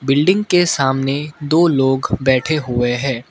Building के सामने दो लोग बैठे हुए हैं।